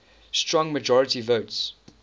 strong majority votes